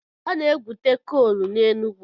Ana-egwute kool n'Enugwu.